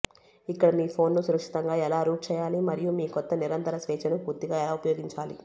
ఇక్కడ మీ ఫోన్ను సురక్షితంగా ఎలా రూట్ చేయాలి మరియు మీ క్రొత్త నిరంతర స్వేచ్ఛను పూర్తిగా ఎలా ఉపయోగించాలి